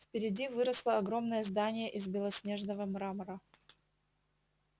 впереди выросло огромное здание из белоснежного мрамора